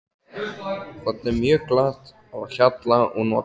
Þarna er mjög glatt á hjalla og notalegt.